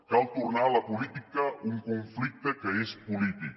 cal tornar a la política un conflicte que és polític